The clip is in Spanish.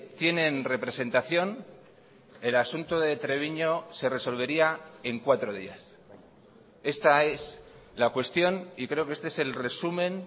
tienen representación el asunto de treviño se resolvería en cuatro días esta es la cuestión y creo que este es el resumen